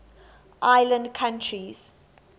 island countries